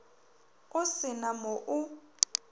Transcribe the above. o se na mo o